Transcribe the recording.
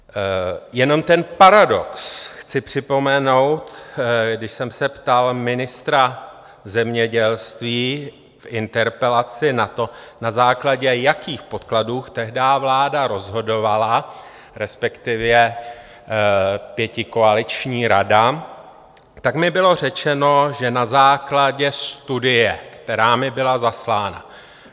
Jenom ten paradox chci připomenout, když jsem se ptal ministra zemědělství v interpelaci na to, na základě jakých podkladů tehdy vláda rozhodovala, respektive pětikoaliční rada, tak mi bylo řečeno, že na základě studie, která mi byla zaslána.